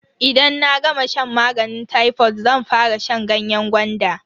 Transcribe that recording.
Idan na gama shan maganin tayfod zan fara shan ganyen gwanda.